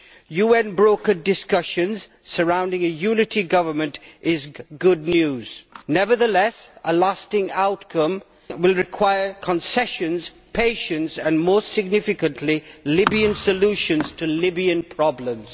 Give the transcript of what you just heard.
UN brokered discussions surrounding a unity government is good news. Nevertheless, a lasting outcome will require concessions, patience and, most significantly, Libyan solutions to Libyan problems.